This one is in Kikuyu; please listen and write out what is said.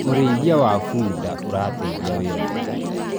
ũrĩithi wa bunda urateithia wira wa mĩgũnda-inĩ